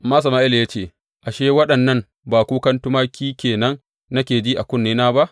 Amma Sama’ila ya ce, Ashe, waɗannan ba kukan tumaki ke nan nake ji a kunnena ba?